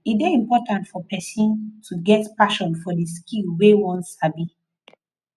e de important for persin to get passion for the skill wey won sabi